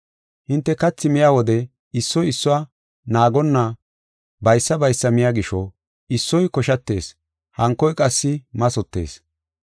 Hinte kathi miya wode issoy issuwa naagonna baysa baysa miya gisho, issoy koshatees hankoy qassi mathotees.